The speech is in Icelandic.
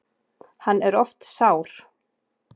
Hann er oft sár.